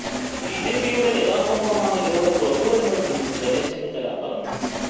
ബിജെപിയുടെ യഥാര്ത്ഥ മുഖമാണ് ഇതിലൂടെ പുറത്തു വരുന്നതെന്നും രമേശ് ചെന്നിത്തല പറഞ്ഞു